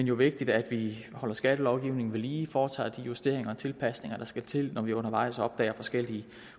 jo vigtigt at vi holder skattelovgivningen ved lige foretager de justeringer og tilpasninger der skal til når vi undervejs opdager forskellige